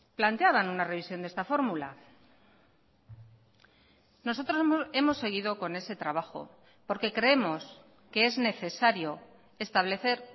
planteaban una revisión de esta fórmula nosotros hemos seguido con ese trabajo porque creemos que es necesario establecer